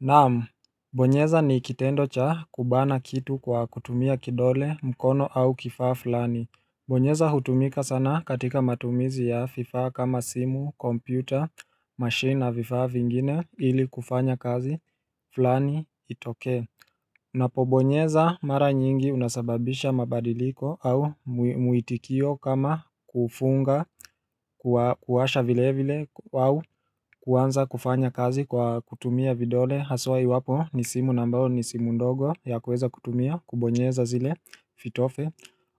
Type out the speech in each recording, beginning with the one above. Naam, bonyeza ni ikitendo cha kubana kitu kwa kutumia kidole mkono au kifaa fulani Bonyeza hutumika sana katika matumizi ya vifaa kama simu, kompyuta, machine na fifa vingine ili kufanya kazi, fulani itoke Napobonyeza mara nyingi unasababisha mabadiliko au muitikio kama kufunga kuwasha vile vile au kuwanza kufanya kazi kwa kutumia vidole Haswa iwapo ni simu na ambao ni simu ndogo ya kuweza kutumia kubonyeza zile vitofi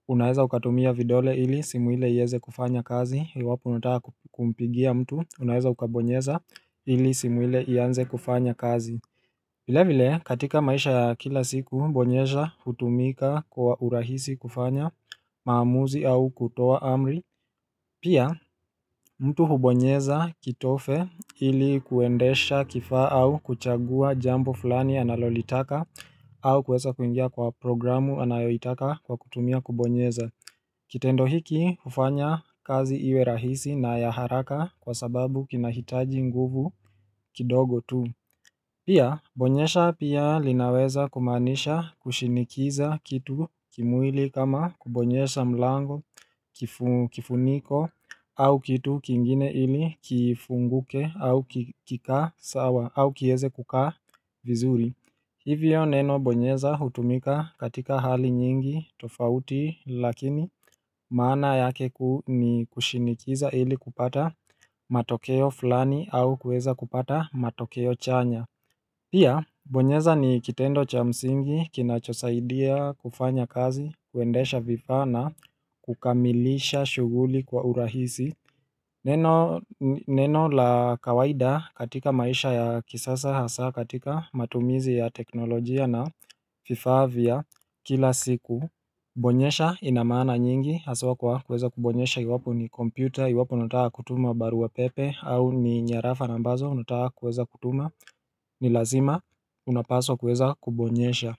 Unaeza ukatumia vidole ili simu ile ieze kufanya kazi iwapo unataka kumpigia mtu Unaeza ukabonyeza ili simu ile ianze kufanya kazi vile vile katika maisha kila siku bonyesha hutumika kwa urahisi kufanya maamuzi au kutoa amri Pia mtu hubonyeza kitofe ili kuendesha kifa au kuchagua jambo fulani analolitaka au kueza kuingia kwa programu anayoitaka kwa kutumia kubonyeza Kitendo hiki ufanya kazi iwe rahisi na yaharaka kwa sababu kinahitaji nguvu kidogo tu Pia bonyesha pia linaweza kumaanisha kushinikiza kitu kimwili kama kubonyesha mlango kifuniko au kitu kingine ili kifunguke au kika sawa au kieze kuka vizuri Hivyo neno bonyeza hutumika katika hali nyingi tofauti lakini maana yake ni kushinikiza ili kupata matokeo fulani au kueza kupata matokeo chanya Pia, bonyeza ni kitendo cha msingi, kinachosaidia kufanya kazi, kuendesha vifaa na kukamilisha shuguli kwa urahisi Neno la kawaida katika maisha ya kisasa hasa katika matumizi ya teknolojia na vifaa vya kila siku Bonyesha inamaana nyingi, hasawa kwa kueza kubonyesha iwapo ni kompyuta iwapk unataka kutuma barua pepe au ni nyarafa na ambazo unataka kueza kutuma ni lazima unapaswa kueza kubonyesha.